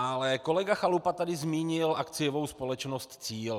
Ale kolega Chalupa tady zmínil akciovou společnost Cíl.